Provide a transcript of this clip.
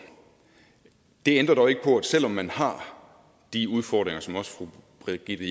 det ændrer dog ikke på at selv om man har de udfordringer som også fru brigitte